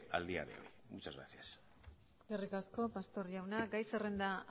a día de hoy muchas gracias eskerrik asko pastor jauna gai zerrenda